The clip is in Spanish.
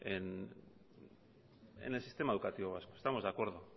en el sistema educativo vasco estamos de acuerdo